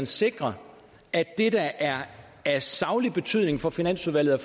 sikre at det der er af saglig betydning for finansudvalget